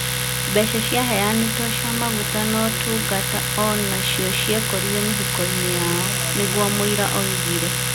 Mbeca ciaheanĩtwo cia maguta na ũtungata ũnacio ciekorire mĩhuko-inĩ yao. Nĩguo mũira oigire.